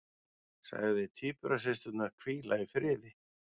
Sagði tvíburasysturnar hvíla í friði